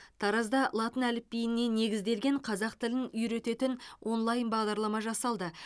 таразда латын әліпбиіне негізделген қазақ тілін үйрететін онлайн бағдарлама жасалды